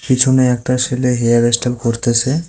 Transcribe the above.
পিছনে একটা ছেলে হেয়ার স্টাইল করতেছে।